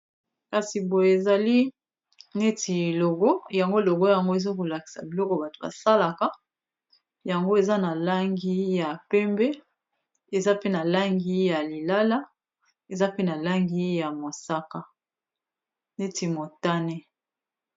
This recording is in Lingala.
Kasi boye ezali neti logo yango logo yango ezolakisa biloko bato basalaka yango eza na langi ya pembe, eza pe na langi ya lilala, eza pe na langi ya mosaka neti motane.